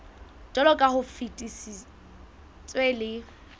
jwaloka ha o fetisitswe le